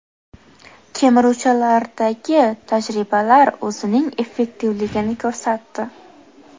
Kemiruvchilardagi tajribalar o‘zining effektivligini ko‘rsatdi.